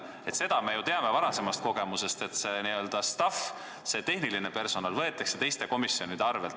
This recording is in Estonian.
Me teame ju varasemast kogemusest, et see n-ö staff, see tehniline personal võetakse teiste komisjonide arvel.